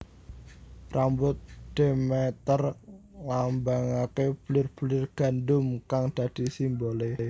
Rambut Demeter nglambangake bulir bulir gandum kang dadi simbole